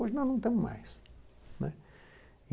Hoje nós não temos mais.